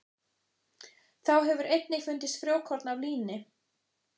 Þá hefur einnig fundist frjókorn af líni.